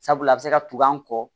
Sabula a bɛ se ka tugun an kɔ